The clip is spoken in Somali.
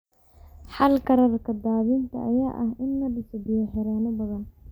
Xalka rarka daadinta ayaa ah in la dhiso biyo-xireenno badan.